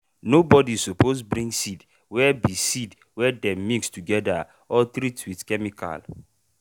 nobody suppose bring seed wey be seed wey dem mix together or treat with chemical.